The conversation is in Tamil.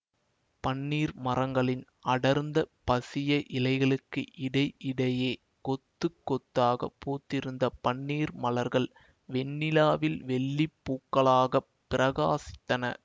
பன்னீர் மரங்களின் அடர்ந்த பசிய இலைகளுக்கு இடை இடையே கொத்து கொத்தாகப் பூத்திருந்த பன்னீர் மலர்கள் வெண்ணிலாவில் வெள்ளி பூக்களாக பிரகாசித்தன